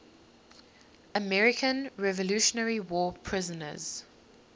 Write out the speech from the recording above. american revolutionary war prisoners